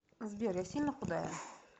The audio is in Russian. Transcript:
сбер я сильно худая